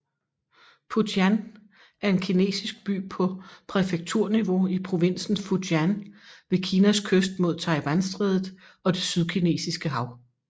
Putian er en kinesisk by på præfekturniveau i provinsen Fujian ved Kinas kyst mod Taiwanstrædet og det Sydkinesiske hav